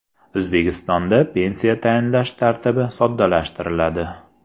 O‘zbekistonda pensiya tayinlash tartibi soddalashtiriladi.